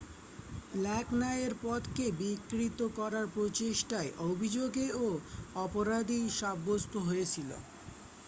black ন্যায়ের পথকে বিকৃত করার প্রচেষ্ঠার অভিযোগেও অপরাধী সাব্যস্থ হয়েছিল